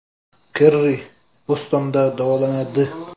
Kerri Bostonda davolanadi.